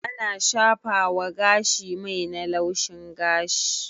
ana shafawa gashi mai na laushin gashi